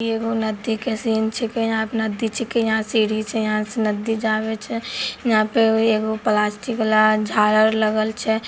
ईगो नदी के सीन छिके यहाँ नदी छिके यहाँ से सीड़ी छे यहाँ से नदी जावे छे यहाँ पे ईगो प्लास्टिक ला झालर लगल छे।